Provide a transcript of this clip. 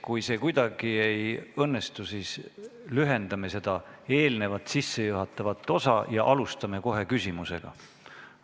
Kui see kuidagi ei õnnestu, siis lühendame sissejuhatavat osa ja alustame kohe küsimusega.